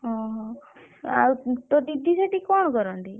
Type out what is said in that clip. ଓହୋ। ଆଉ ତୋ ଦିଦି ସେଠି କଣ କରନ୍ତି?